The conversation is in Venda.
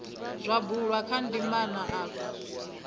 zwa bulwa kha ndimana afha